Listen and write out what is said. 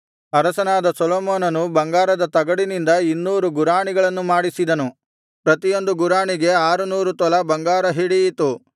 ಅರಸನಾದ ಸೊಲೊಮೋನನು ಬಂಗಾರದ ತಗಡಿನಿಂದ ಇನ್ನೂರು ಗುರಾಣಿಗಳನ್ನು ಮಾಡಿಸಿದನು ಪ್ರತಿಯೊಂದು ಗುರಾಣಿಗೆ ಆರುನೂರು ತೊಲಾ ಬಂಗಾರ ಹಿಡಿಯಿತು